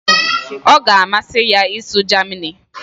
ọ ga-amasị ya ịsụ Germani